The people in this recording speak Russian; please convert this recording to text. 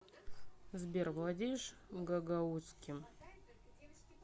сбер владеешь гагаузским